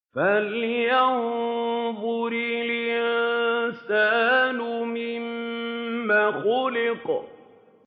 فَلْيَنظُرِ الْإِنسَانُ مِمَّ خُلِقَ